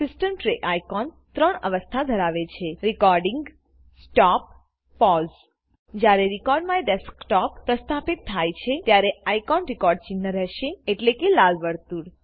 system tray icon ત્રણ અવસ્થા ધરાવે છે recording recording stop stop pause pause જયારે recordMyDesktopપ્રસ્થાપિત થાય છેત્યારે આઇકો રેકોર્ડ ચિન્હ રહેશેએટલેકે લાલ વર્તુળ